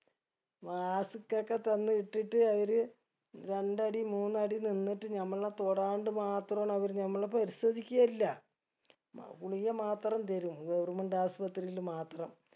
mask ഒക്കെ തന്ന് ഇട്ടിട്ട് അവര് രണ്ടടി മൂന്നടി നിന്നിട്ട് നമ്മളെ തോടാണ്ട് മാത്രാണ് അവര് നമ്മളെ പരിശോദിക്കയില്ല മ ഗുളിക മാത്രം തരും government ആസ്പത്രിയില് മാത്രം